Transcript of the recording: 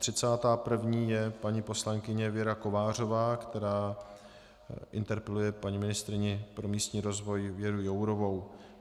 Třicátá první je paní poslankyně Věra Kovářová, která interpeluje paní ministryni pro místní rozvoj Věru Jourovou.